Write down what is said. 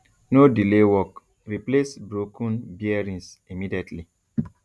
no delay work replace broken bearings immediately